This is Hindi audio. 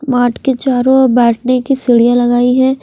मार्ट के चारो और बेठने की सीडिया लगाई है।